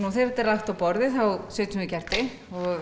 þegar þetta er lagt á borðið setjum við kerti og